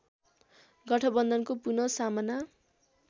गठबन्धनको पुन सामना